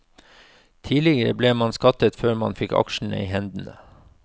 Tidligere ble man skattet før man fikk aksjene i hendene.